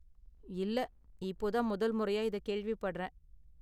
இல்ல, இப்போ தான் முதல் முறையா இத கேள்விப்படறேன்!